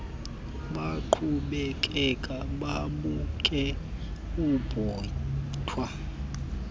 baqhubekeke babuke ibhotwe